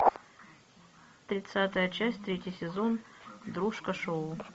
тридцатая часть третий сезон дружко шоу